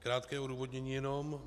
Krátké odůvodnění jenom.